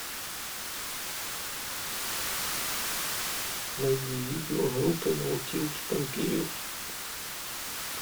найди видео группы наутилус помпилиус